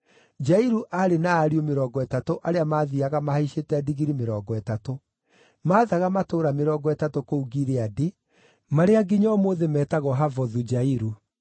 Jairu aarĩ na ariũ mĩrongo ĩtatũ arĩa mathiiaga mahaicĩte ndigiri mĩrongo ĩtatũ. Maathaga matũũra mĩrongo ĩtatũ kũu Gileadi, marĩa nginya ũmũthĩ metagwo Havothu-Jairu.